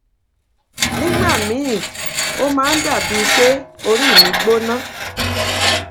nígbà miín ó máa dà bíi pé orí mi gbóná